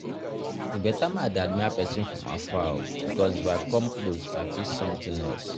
E better make I dey admire person from afar because if I come close I fit something else